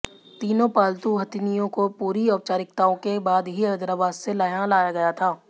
तीनों पालतू हथिनियों को पूरी औपचारिकताओं के बाद ही हैदराबाद से यहां लाया गया था